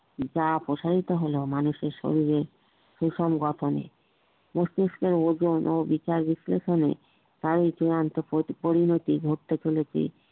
যা প্রসারিত হলো মানুষের শরীরে প্রশান গঠনিক মস্তিষ্কের ওজন ও বিচার বিশ্লেষণে কারোর চূড়ান্ত পরিণতি ঘটতে চলেছে